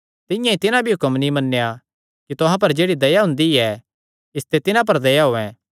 तिंआं ई तिन्हां भी हुण हुक्म नीं मन्नेया कि तुहां पर जेह्ड़ी दया हुंदी ऐ इसते तिन्हां पर दया होयैं